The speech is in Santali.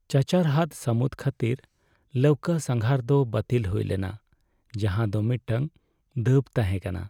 ᱪᱟᱪᱟᱨᱦᱟᱫᱽ ᱥᱟᱹᱢᱩᱫ ᱠᱷᱟᱹᱛᱤᱨ ᱞᱟᱹᱣᱠᱟᱹ ᱥᱟᱸᱜᱷᱟᱨ ᱫᱚ ᱵᱟᱹᱛᱤᱞ ᱦᱩᱭ ᱞᱮᱱᱟ, ᱡᱟᱦᱟᱸ ᱫᱚ ᱢᱤᱫᱴᱟᱝ ᱫᱟᱹᱵᱽ ᱛᱟᱦᱮᱸ ᱠᱟᱱᱟ ᱾